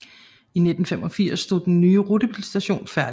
I efteråret 1985 stod den nye rutebilstation færdig